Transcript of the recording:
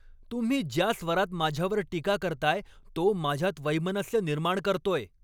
तुम्ही ज्या स्वरात माझ्यावर टीका करताय तो माझ्यात वैमनस्य निर्माण करतोय.